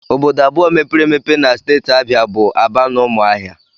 Obodo abụọ mepere emepe na steeti Abịa bụ Aba na Ụmụahịa